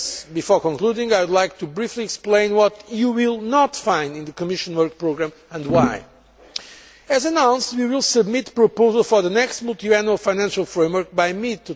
Before concluding, I would like to briefly explain what you will not find in the Commission work programme and why. As announced, we will submit the proposal for the next multiannual financial framework by